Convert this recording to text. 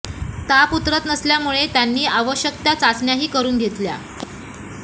ताप उतरत नसल्यामुळे त्यांनी आवश्यक त्या चाचण्याही करून घेतल्या